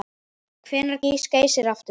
Hvenær gýs Geysir aftur?